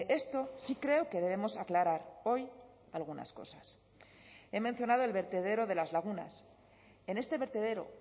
esto sí creo que debemos aclarar hoy algunas cosas he mencionado el vertedero de las lagunas en este vertedero